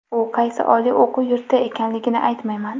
U qaysi oliy o‘quv yurti ekanligini aytmayman.